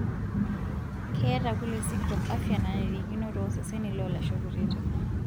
Keeta kule sikitok afia nanarikino tooseseni loolasho kutitik.